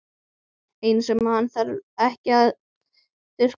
Eina sem hann þarf ekki að þurrka út.